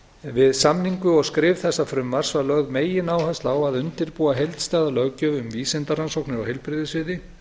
við samningu og skrif þessa frumvarps var lögð megináhersla á að undirbúa heildstæða löggjöf um vísindarannsóknir á heilbrigðissviði